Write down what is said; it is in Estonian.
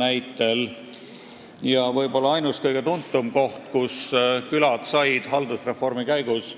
Ainus ja võib-olla kõige tuntum koht, kus külad said haldusreformi käigus